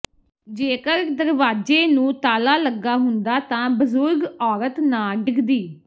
ਜੇਕਰ ਦਰਵਾਜੇ ਨੂੰ ਤਾਲਾ ਲੱਗਾ ਹੁੰਦਾ ਤਾਂ ਬਜ਼ੁਰਗ ਔਰਤ ਨਾ ਡਿੱਗਦੀ